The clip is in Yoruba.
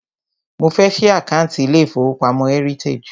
Mo fẹ́ ṣí àkántì ilé ìfọwọ́pamo Heritage.